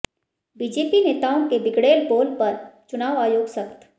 BJP नेताओं के बिगड़ैल बोल पर चुनाव आयोग सख्त